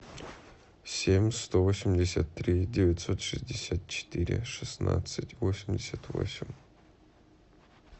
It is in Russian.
семь сто восемьдесят три девятьсот шестьдесят четыре шестнадцать восемьдесят восемь